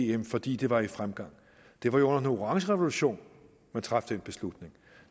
em fordi det var i fremgang det var jo under den orange revolution man traf den beslutning